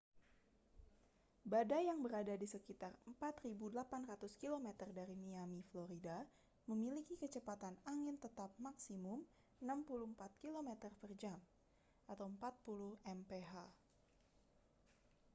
badai yang berada di sekitar 4.800 km dari miami florida memiliki kecepatan angin tetap maksimum 64 km per jam 40 mph